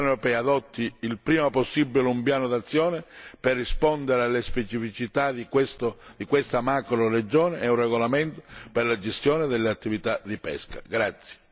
Mi auguro infine che la Commissione europea adotti quanto prima possibile un piano d'azione per rispondere alle specificità di questa macroregione e un regolamento per la gestione delle attività di pesca.